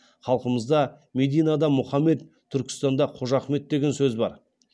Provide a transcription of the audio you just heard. халқымызда мәдинада мұхаммед түркістанда қожа ахмет деген сөз бар